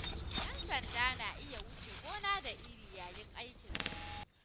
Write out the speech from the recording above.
Yan sanda na iya wuce gona da iri yayin aikin su.